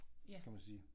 Kan man sige